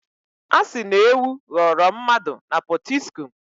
A sị na ewu ghọrọ mmadụ na Pọtiskum.